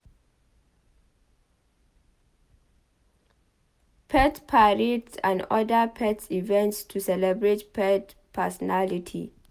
Pet parades and oda pet events to celebrate pet personality